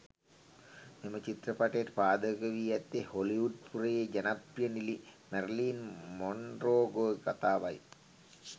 මෙම චිත්‍රපටයට පාදක වී ඇත්තේ හොලිවුඞ්පුරයේ ජනපි්‍රය නිළි මැරිලින් මොන්රෝගේ කතාවයි.